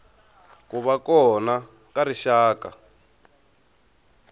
ku va kona ka rixaka